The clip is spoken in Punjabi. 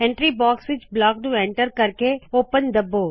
ਐਂਟਰੀ ਬੌਕਸ ਵਿਚ ਬਲੌਕ ਨੂ enter ਕਰਕੇ ਓਪਨ ਦੱਬੋ